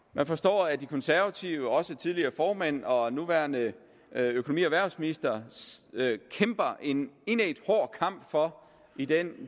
man forstår at de konservative også tidligere formænd og nuværende økonomi og erhvervsminister kæmper en indædt hård kamp for i den